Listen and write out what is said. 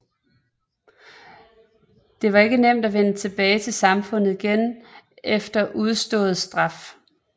Det var ikke nemt at vende tilbage til samfundet igen efter udstået straf